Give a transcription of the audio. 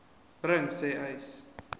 bring sê uys